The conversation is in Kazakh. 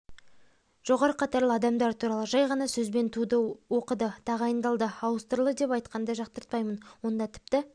жоғары қатарлы адамдар туралы жай ғана сөзбен туды оқыды тағайындалды ауыстырылды деп айтқанды жақтыртпаймын онда тіпті